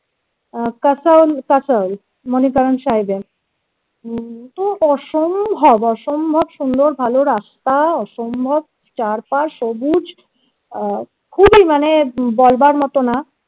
আহ kasol kasol তো অসম্ভব অসম্ভব সুন্দর ভালো রাস্তা অসম্ভব চারপাশ সবুজ আহ খুবই মানে বলবার মতো না